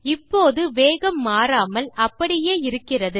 இப்போது வேகம் மாறாமல் அப்படியே இருக்கிறது